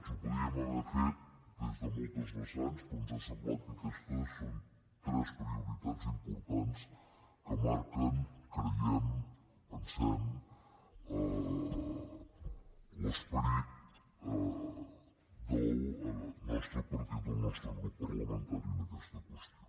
ho podríem haver fet des de moltes vessants però ens ha semblat que aquestes són tres prioritats importants que marquen creiem pensem l’esperit del nostre partit del nostre grup parlamentari en aquesta qüestió